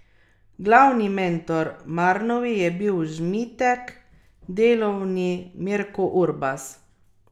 Glavni mentor Marnovi je bil Žmitek, delovni Mirko Urbas.